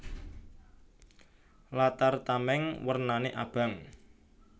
Latar tamèng wernané abang